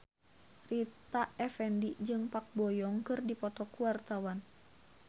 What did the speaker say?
Rita Effendy jeung Park Bo Yung keur dipoto ku wartawan